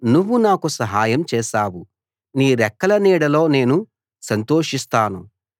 నువ్వు నాకు సహాయం చేశావు నీ రెక్కల నీడలో నేను సంతోషిస్తాను